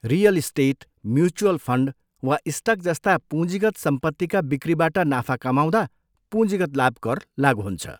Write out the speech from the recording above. Real estate, mutual fund वा stock जस्ता पुँजीगत सम्पत्तिका बिक्रीबाट नाफा कमाउँदा पुँजीगत लाभकर लागु हुन्छ।